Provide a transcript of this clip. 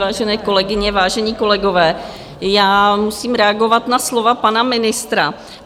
Vážené kolegyně, vážení kolegové, já musím reagovat na slova pana ministra.